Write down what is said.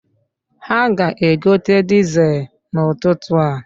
Ha ga-egote dizel n'ụtụtụ a?